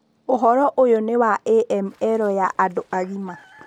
Ũhoro ũyũ nĩ wa AML ya andũ agima.